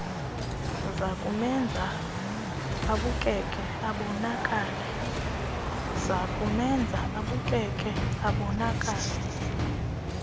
zakumenza abukeke abonakale